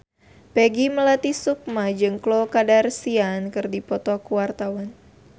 Peggy Melati Sukma jeung Khloe Kardashian keur dipoto ku wartawan